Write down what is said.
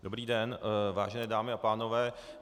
Dobrý den, vážené dámy a pánové.